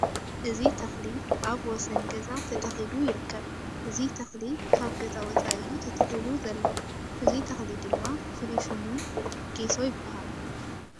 እዚ ተክሊ ኣብ ወሰን ገዛ ተተኪሉ ይርከብ። እዚ ተክሊ ካብ ገዛ ወፃኢ እዩ ተተኪሉ ዘሎ እዚ ተክሉ ድማ ፍሉይ ሽሙ ጌሶ ይባሃል።